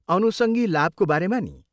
अनुसङ्गी लाभको बारेमा नि?